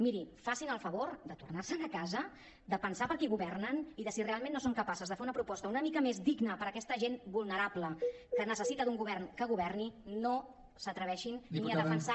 mirin facin el favor de tornar se’n a casa de pensar per a qui governen i si realment no són capaces de fer una proposta una mica mes digna per a aquesta gent vulnerable que necessita un govern que governi no s’atreveixin ni a defensar